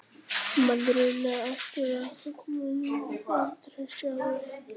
Maðurinn er ekki sérlega gömul tegund í lífríki jarðar.